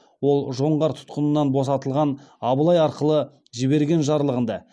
ол жоңғар тұтқынынан босатылған абылай арқылы жіберген жарлығында